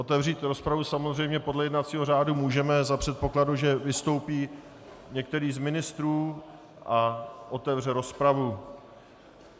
Otevřít rozpravu samozřejmě podle jednacího řádu můžeme za předpokladu, že vystoupí některý z ministrů a otevře rozpravu.